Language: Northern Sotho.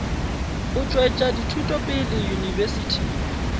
go tšwetša dithuto pele yunibesithing